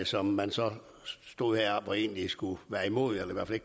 som man så stod heroppe og egentlig skulle være imod eller